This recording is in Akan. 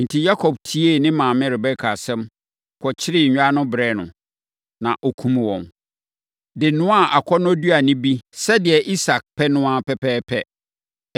Enti, Yakob tiee ne maame Rebeka asɛm, kɔkyeree nnwan no brɛɛ no. Na ɔkumm wɔn, de noaa akɔnnɔduane bi, sɛdeɛ Isak pɛ no pɛpɛɛpɛ.